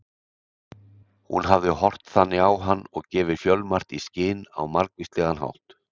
Hún hafði horft þannig á hann og gefið fjölmargt í skyn á margvíslegan hátt.